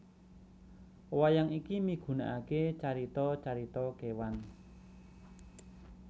Wayang iki migunaaké carita carita kéwan